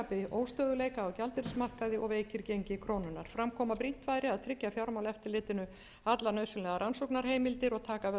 óstöðugleika á gjaldeyrismarkaði og veikir gengi krónunnar fram kom að brýnt væri að tryggja fjármálaeftirlitinu allar nauðsynlegar rannsóknarheimildir og taka af tvímæli um úrræði